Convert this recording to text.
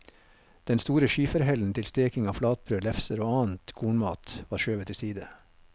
Den store skiferhellen til steking av flatbrød, lefser og annen kornmat var skjøvet til side.